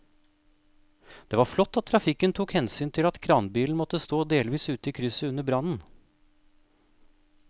Det var flott at trafikken tok hensyn til at kranbilen måtte stå delvis ute i krysset under brannen.